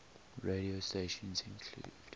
radio stations include